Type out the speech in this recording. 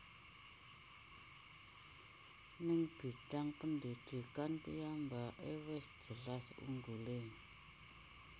Ning bidang pendidikan piyambake wis jelas unggulé